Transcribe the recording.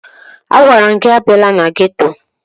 Agwara m gị abịala na geto!